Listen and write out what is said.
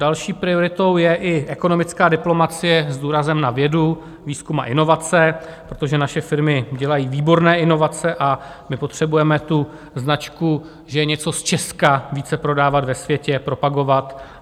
Další prioritou je i ekonomická diplomacie s důrazem na vědu, výzkum a inovace, protože naše firmy dělají výborné inovace a my potřebujeme tu značku, že je něco z Česka, více prodávat ve světě, propagovat.